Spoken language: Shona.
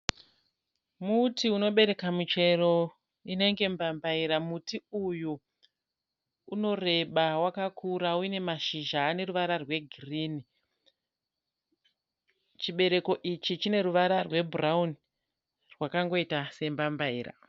Muti unobereka michero inenge mbambayira. Muti uyu unoreba wakakura une mashizha ane ruvara rwegirini. Chibereko ichi chine ruvara rwebhurawuni rwakangoita sembambayira.